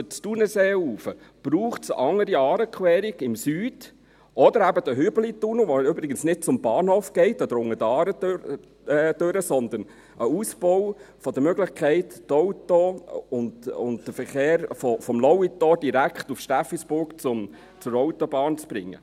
Es braucht eine andere Aarequerung im Süden oder eben den Hübelitunnel, der übrigens nicht zum Bahnhof oder unter der Aare hindurch führt, sondern ein Ausbau der Möglichkeit ist, die Autos und den Verkehr vom Lauitor direkt nach Steffisburg zur Autobahn zu bringen.